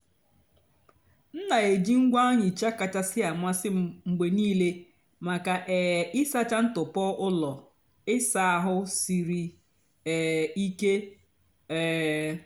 m na-èjì ngwá nhịcha kachásị́ àmasị́ m mgbe nílé maka um ị́sàcha ntụpọ́ ụ́lọ́ ị́sa àhụ́ sírí um ìké. um